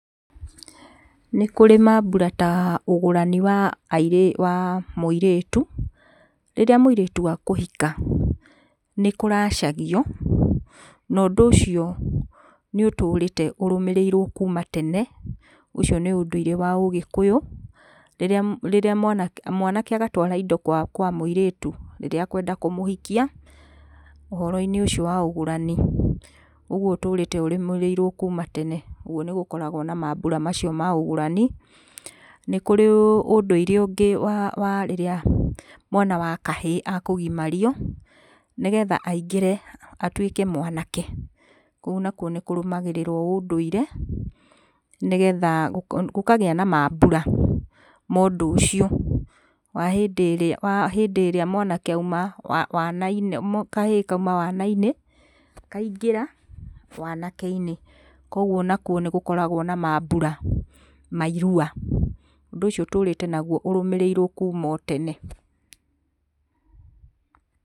Nĩkũrĩ mambura ta ũgũrani wa airĩ, wa mũirĩtu. Rĩrĩa mũirĩtu akũhika nĩkũracagio na ũndũ ũcio nĩũtũrĩte ũrũmĩrĩirwo kuuma tene, ũcio nĩ ũndũire wa ũgĩkũyũ. Rĩrĩa, rĩrĩa mwanake, mwanake agatwara indo kwa, kwa mũirĩtu rĩrĩa akwenda kũmũhikia ũhoro-inĩ ũcio wa ũgũrani, ũguo ũtũrĩte ũrũmĩrĩirwo kuuma tene, ũguo nĩgũkoragwo na mambura macio ma ũgũrani. Nĩ kũrĩ ũndũire ũngĩ wa, wa rĩrĩa mwana wa kahĩĩ akũgimario nĩgetha aingĩre, atuĩke mwanake, kũu nakuo nĩkũrũmagĩrĩrwo ũndũire, nĩgetha gũ, gũkagia na mambura mondũcio, wa hĩndĩ ĩrĩa, wa hĩndĩ ĩrĩa mwanake auma wa, wana-inĩ, kahĩĩ kauma wana-inĩ kaingĩra wanake-inĩ. Koguo onakuo nĩgũkoragwo na mambura ma irua. Ũndũ ũcio ũtũrĩte naguo ũrũmĩrĩirwo kuuma o tene.